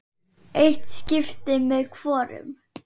Eitt skipti með hvorum.